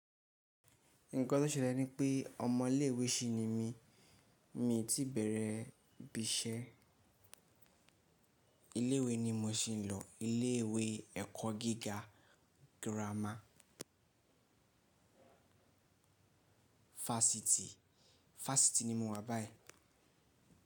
Nǹkan tó ṣẹlẹ̀ ní pé ọmọ ilé́ ìwé sí ni mí, mi ti bẹ̀rẹ̀ ibi iṣẹ́. Ilé ìwé ni mo si ń lọ, ilé ìwé ẹ̀kọ́ gíga girama. Fásitì, fásitì ni mo wà báyìí.